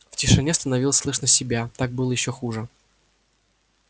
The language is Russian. в тишине становилось слышно себя так было ещё хуже